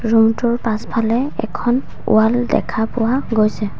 ৰুমটোৰ পাছফালে এখন ৱাল দেখা পোৱা গৈছে।